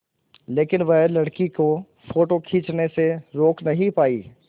लेकिन वह लड़की को फ़ोटो खींचने से रोक नहीं पाई